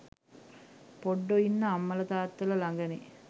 පොඩ්ඩො ඉන්නෙ අම්මල තාත්තල ලඟනේ.